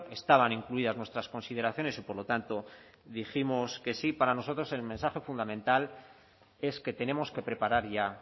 estaban incluidas nuestras consideraciones y por lo tanto dijimos que sí para nosotros el mensaje fundamental es que tenemos que preparar ya